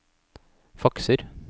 fakser